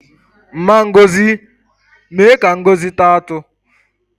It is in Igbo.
Mma Ngozi mee ka Ngozi taa atụ